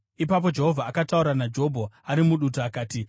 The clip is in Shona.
Ipapo Jehovha akataura naJobho ari mudutu akati: